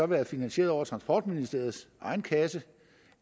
været finansieret over transportministeriets egen kasse